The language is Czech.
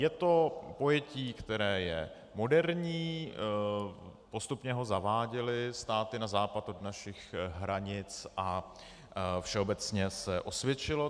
Je to pojetí, které je moderní, postupně ho zaváděly státy na západ od našich hranic a všeobecně se osvědčilo.